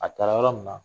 A taara yɔrɔ min na